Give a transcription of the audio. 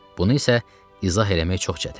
Bunu isə izah eləmək çox çətindir.